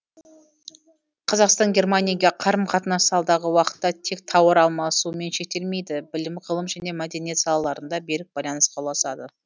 қазақстан германияге қарым қатынасы алдағы уақытта тек тауар алмасумен шектелмейді білім ғылым және мәдениет салаларында берік байланысқа ұласады